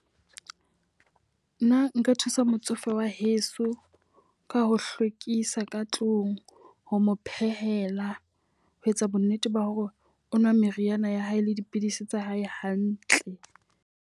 Nna nka thusa motsofe wa heso ka ho hlwekisa ka tlung, ho mo phehela ho etsa bo nnete ba hore o nwa meriana ya hae le dipidisi tsa hae hantle.